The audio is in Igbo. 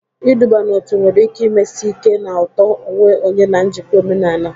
Iduba n'otu nwere ike mesie ike na uto onwe onye na njikọ omenala.